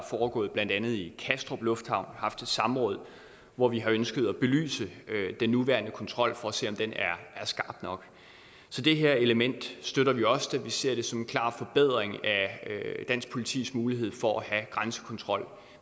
foregået blandt andet i kastrup lufthavn haft et samråd hvor vi har ønsket at belyse den nuværende kontrol for at se om den er skarp nok så det her element støtter vi også vi ser det som en klar forbedring af dansk politis mulighed for at have grænsekontrol